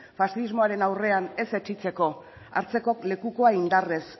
faxismoaren aurrean ez etsitzeko hartzeko lekukoa indarrez